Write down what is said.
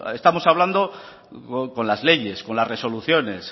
estamos hablando con las leyes con las resoluciones